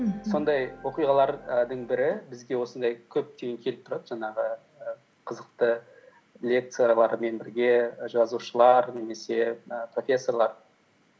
мхм сондай оқиғалардың бірі бізде осындай көптеген келіп тұрады жаңағы қызықты лекциялармен бірге жазушылар немесе і профессорлар